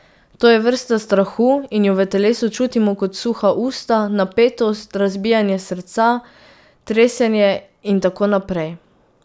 To je vrsta strahu in jo v telesu čutimo kot suha usta, napetost, razbijanje srca, tresenje in tako naprej ...